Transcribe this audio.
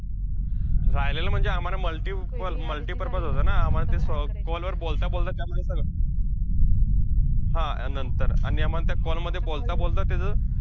राहिलेलं म्हणजे आम्हांला multiple multipurpose होतं ना, आम्हांला ते अं call वर बोलता बोलता त्यामध्ये सगळं, हा नंतर आणि आम्हांला त्या call मध्ये बोलता बोलता त्याचं,